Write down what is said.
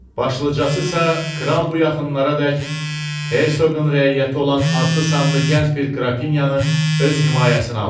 Başlıcasısa kral bu yaxınlaradək hersoqun rəiyyəti olan adlı sanlı gənc bir qrafinyanı öz himayəsinə alıb.